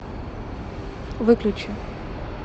выключи